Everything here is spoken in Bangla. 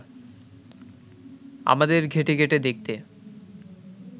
আমাদের ঘেঁটে ঘেঁটে দেখতে